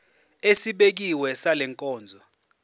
esibekiwe sale nkonzo